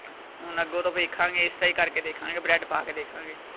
ਹੁਣ ਅੱਗੋਂ ਤੋਂ ਵੇਖਾਂਗੇ ਇਸ ਤਰਾਂ ਹੀ ਕਰ ਕੇ ਦੇਖਾਂਗੇ bread ਪਾ ਕੇ ਦੇਖਾਂਗੇ।